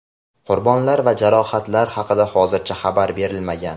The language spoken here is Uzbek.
qurbonlar va jarohatlar haqida hozircha xabar berilmagan.